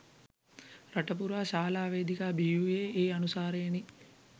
රට පුරා ශාලා වේදිකා බිහි වූවේ ඒ අනුසාරයෙනි